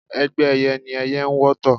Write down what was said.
Ẹgbẹ́ ẹyẹ ní ẹyẹ ń wọ́tọ̀